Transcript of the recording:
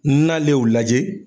Nalen y'o lajɛ.